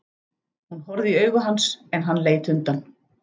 Hún horfði í augu hans en hann leit undan.